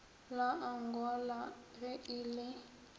la angola ge e le